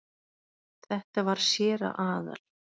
Þetta var séra Aðal